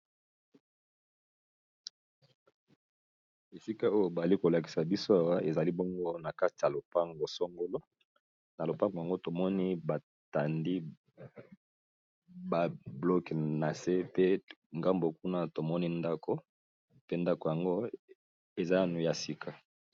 Esika oyo bali kolakisa biso awa ezali bongo na kati ya lopango songolo, na lopango yango tomoni ba tandi ba bloke na se pe ngambo kuna tomoni ndako pe ndako yango eza nanu ya sika.